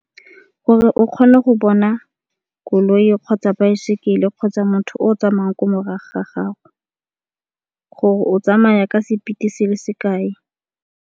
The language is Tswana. Gore o kgone go bona koloi kgotsa baesekele kgotsa motho o tsamaya ko morago ga gago gore o tsamaya ka speed-e se le sekae.